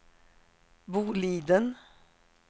Boliden